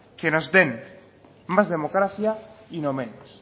que nos den más democracia y no menos